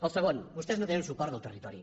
el segon vostès no tenen suport del territori